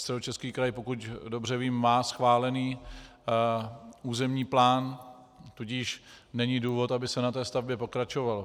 Středočeský kraj, pokud dobře vím, má schválený územní plán, tudíž není důvod, aby se na té stavbě nepokračovalo.